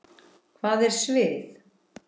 Hvað er svið?